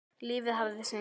Lífið hafði sinn gang.